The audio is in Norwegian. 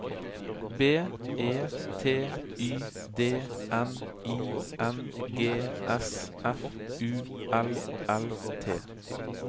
B E T Y D N I N G S F U L L T